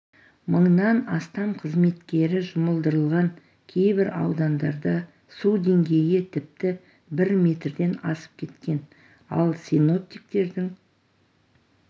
мыңнан астам қызметкері жұмылдырылған кейбір аудандарда су деңгейі тіпті бір метрден асып кеткен ал синоптиктердің